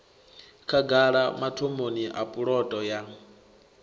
khagala mathomoni a puloto ya